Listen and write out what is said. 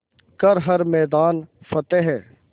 कर हर मैदान फ़तेह